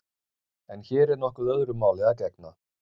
En hér er nokkuð öðru máli að gegna.